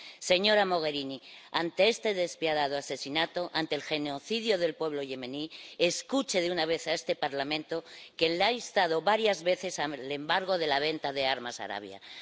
Señora Mogherini, ante este despiadado asesinato, ante el genocidio del pueblo yemení, escuche de una vez a este Parlamento, que la ha instado varias veces al embargo de la venta de armas a Arabia Saudí.